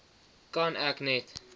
kan ek net